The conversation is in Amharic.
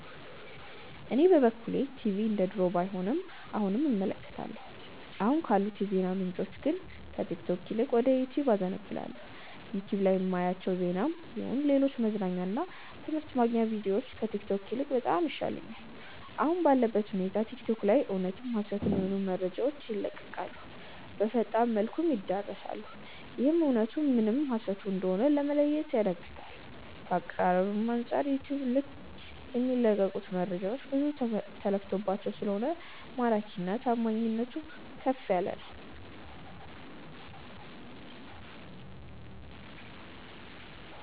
እኔ በበኩሌ ቲቪ እንደድሮው ባይሆንም አሁንም እመለከታለሁ። አሁን ካሉት የዜና ምንጮች ግን ከቲክቶክ ይልቅ ወደ ዩቲዩብ አዘነብላለው። ዩቲዩብ ላይ ማያቸው ዜናም ይሁን ሌሎች መዝናኛ እና ትምህርት ማግኛ ቪድዮዎች ከቲክቶክ ይልቅ በጣም ይሻሉኛል። አሁን ባለበት ሁኔታ ቲክቶክ ላይ እውነትም ሀሰትም የሆኑ መረጃዎች ይለቀቃሉ፣ በፈጣን መልኩም ይዳረሳሉ፤ ይህም እውነቱ ምን ሀሰቱ ም እንደሆነ ለመለየት ያዳግታል። ከአቀራረብም አንጻር ዩቲዩብ ልይ የሚለቀቁት መረጃዎች ብዙ ተለፍቶባቸው ስለሆነ ማራኪና ታማኒነቱም ከፍ ያለ ነው።